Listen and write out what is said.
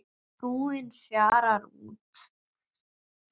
Trúin fjarar út